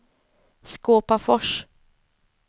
Skåpafors